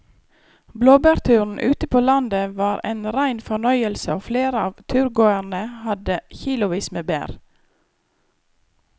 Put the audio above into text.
Blåbærturen ute på landet var en rein fornøyelse og flere av turgåerene hadde kilosvis med bær.